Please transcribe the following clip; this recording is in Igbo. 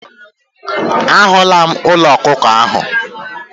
A hụla m ụlọ ọkụkọ ahụ.